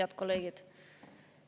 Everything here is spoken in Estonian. Head kolleegid!